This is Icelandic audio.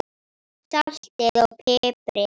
Saltið og piprið.